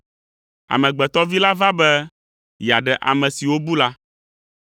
Amegbetɔ Vi la va be yeaɖe ame siwo bu la.